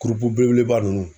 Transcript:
Kurupu belebeleba ninnu